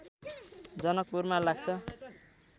जनकपुरमा लाग्छ